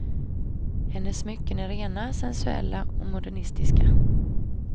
Hennes smycken är rena, sensuella och modernistiska.